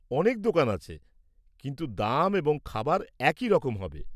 অনেক দোকান আছে, কিন্তু দাম এবং খাবার একই রকম হবে।